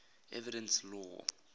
evidence law